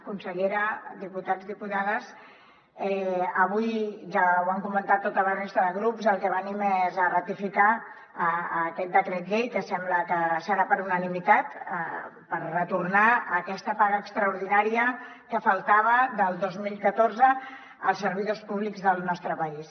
consellera diputats i diputades avui ja ho han comentat tota la resta de grups al que venim és a ratificar aquest decret llei que sembla que serà per unanimitat per retornar aquesta paga extraordinària que faltava del dos mil catorze als servidors públics del nostre país